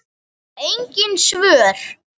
Engin svör.